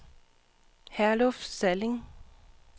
Herluf Salling